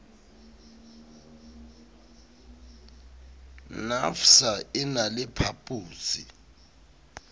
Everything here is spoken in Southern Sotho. nafvsa e na le phaposi